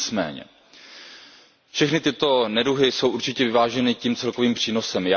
Nicméně všechny tyto neduhy jsou určitě vyváženy tím celkovým přínosem.